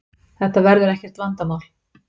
Þetta verður ekkert vandamál